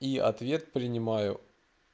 и ответ принимаю